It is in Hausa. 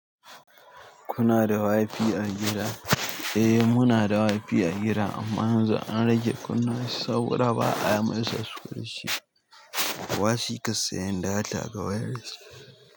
Kuna da wifi a gida? Eh muna da wifi a gida amman yanzu an rage kunna shi saboda ba a masa sushe. Kowa shi ka sayan data ga wayarshi?